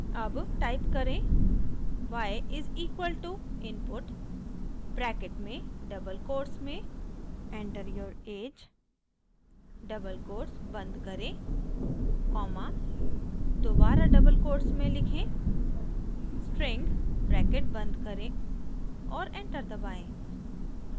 अब टाइप करें > y is equal to input bracket में डबल कोट्स में enter your age double quotes बंद करें कॉमा दोबारा डबल कोट्स में लिखें string ब्रैकेट बंद करें और एंटर दबाएं